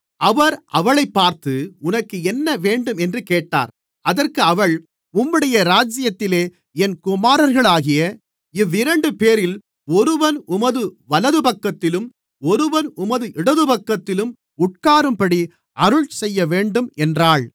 அவர் அவளைப் பார்த்து உனக்கு என்ன வேண்டும் என்று கேட்டார் அதற்கு அவள் உம்முடைய ராஜ்யத்திலே என் குமாரர்களாகிய இவ்விரண்டுபேரில் ஒருவன் உமது வலதுபக்கத்திலும் ஒருவன் உமது இடதுபக்கத்திலும் உட்காரும்படி அருள்செய்யவேண்டும் என்றாள்